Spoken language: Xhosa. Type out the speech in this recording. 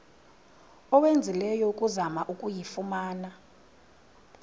owenzileyo ukuzama ukuyifumana